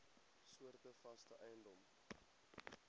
soorte vaste eiendom